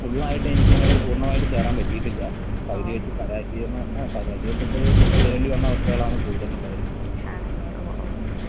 ഫുള്ളായിട്ടെനിക്കങ്ങട് പൂർണ്ണമായിട്ട് കേറാൻ പറ്റീട്ടില്ല. പകുതി വെച്ച് പരാജയം ആഹ് പരാജയപ്പെട്ട് തിരിച്ചു വരേണ്ടി വന്ന അവസ്ഥകളാണ് കൂടുതലും ഉണ്ടായിരിക്കുന്നത്. ഉം.